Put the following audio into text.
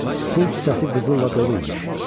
Pul kisəsi qızılla dolu imiş.